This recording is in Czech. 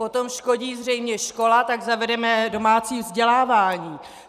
Potom škodí zřejmě škola, tak zavedeme domácí vzdělávání.